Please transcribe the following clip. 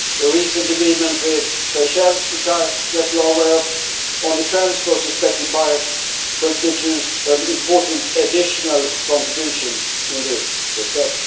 A recent agreement with Seychelles, which I imagine you are aware of, on the transfer of suspected pirates constitutes an important additional contribution in this respect.